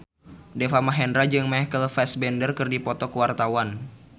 Deva Mahendra jeung Michael Fassbender keur dipoto ku wartawan